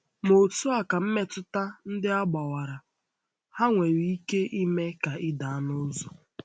Ma otu a ka mmetụta ndị a gbawara, ha nwere ike ime ka ị daa n’ụzọ.